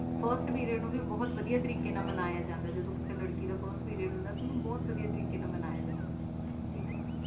ਨੂੰ ਵੀ ਬਾਰੇ ਵੱਡੀਆਂ ਤਰੀਕੇ ਨਾਲ ਮਨਾਇਆ ਜਾਂਦਾ ਹੈ ਨੂੰ ਵੀ ਬਾਰੇ ਅੱਛੇ ਤਰੀਕੇ ਨਾਲ ਕਿੱਤਾ ਜਾਂਦਾ ਹੈ ਠੀਕ ਹੈ